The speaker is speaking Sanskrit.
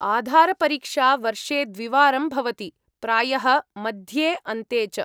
आधारपरीक्षा वर्षे द्विवारं भवति, प्रायः मध्ये अन्ते च।